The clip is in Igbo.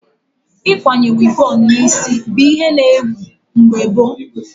Ịkwanye wivon na isi bụ ihe na ewu mgbe gboo